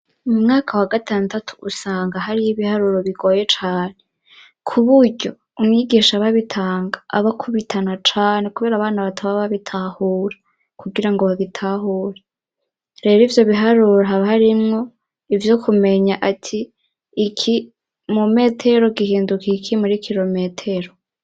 Mu mwaka wa gatandatu usanga hariyo ibiharuro bigoye cane, kuburyo umwigisha aba abitanga, aba akubitana cane kubera abana bataba babitahura kugirango babitahure. Rero ivyo biharuro haba harimwo ivyo kumenya ati iki mu metero gihinduka iki muri kirometero.